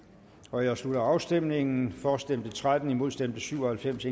nu jeg slutter afstemningen for stemte tretten imod stemte syv og halvfems